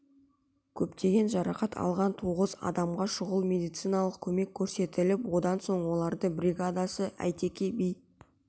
көптеген жарақат алған тоғыз адамға шұғыл медициналық көмек көрсетіліп одан соң оларды бригадасы әйтеке би